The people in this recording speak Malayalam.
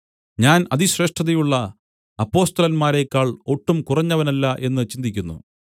ഞാൻ അതിശ്രേഷ്ഠതയുള്ള അപ്പൊസ്തലന്മാരെക്കാൾ ഒട്ടും കുറഞ്ഞവനല്ല എന്ന് ചിന്തിക്കുന്നു